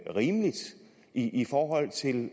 rimeligt i i forhold til